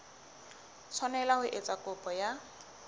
tshwanela ho etsa kopo ya